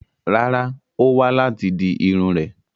Rárá, Ó wá láti di Irun rè